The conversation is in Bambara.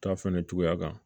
Ta fɛnɛ cogoya kan